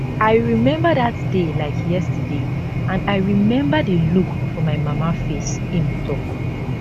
i remember dat day like yesterday and i remember di look for my mama face im tok